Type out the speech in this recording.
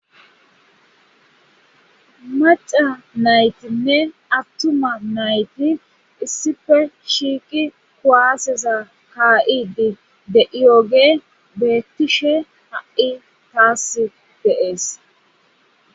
maca naytinne attuma nayti issife shiiki kuwaaseza ka7idi de7iyooge beettishe ha7i taas deees